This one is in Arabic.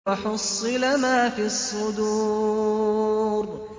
وَحُصِّلَ مَا فِي الصُّدُورِ